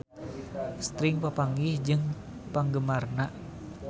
Sting papanggih jeung penggemarna